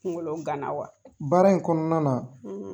Kunkolo ganna wa ?baara in kɔnɔna na